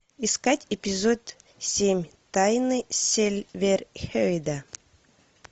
искать эпизод семь тайны сильверхейда